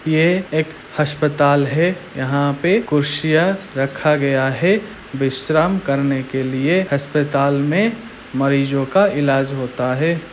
यह एक हस्पताल है यहाँ पे कुर्सियां रखा गया है विश्राम करने के लिए हस्पताल में मरीजों का इलाज होता है।